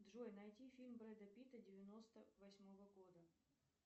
джой найди фильм брэда питта девяносто восьмого года